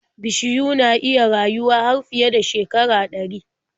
Bishiyu na iya rayuwa har fiye da shekara ɗari.